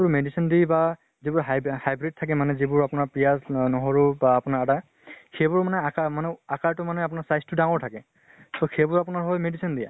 medicine দি বা যি বোৰ হিইব hybrid থাকে মানে যিবোৰ আপোনাৰ পিয়াজ নহৰু বা আপোনাৰ আদা। সেইবোৰ মানে আকা মানে আকাৰ টো মানে আপোনাৰ size টো ডাঙৰ থাকে। so সেইবোৰ আপোনাৰ হল medicine দিয়া।